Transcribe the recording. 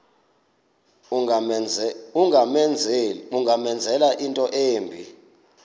ungamenzela into embi